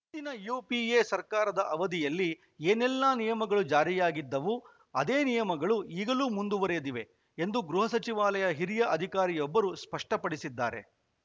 ಹಿಂದಿನ ಯುಪಿಎ ಸರ್ಕಾರದ ಅವಧಿಯಲ್ಲಿ ಏನೆಲ್ಲಾ ನಿಯಮಗಳು ಜಾರಿಯಾಗಿದ್ದವು ಅದೇ ನಿಯಮಗಳು ಈಗಲೂ ಮುಂದುವರೆದಿವೆ ಎಂದು ಗೃಹ ಸಚಿವಾಲಯದ ಹಿರಿಯ ಅಧಿಕಾರಿಯೊಬ್ಬರು ಸ್ಪಷ್ಟಪಡಿಸಿದ್ದಾರೆ